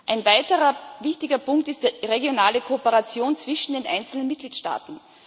Ein weiterer wichtiger Punkt ist die regionale Kooperation zwischen den einzelnen Mitgliedstaaten.